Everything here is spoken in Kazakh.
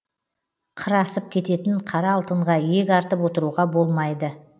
қыр асып кететін қара алтынға иек артып отыруға болмайды